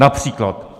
Například.